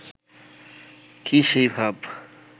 কি সেই ভাব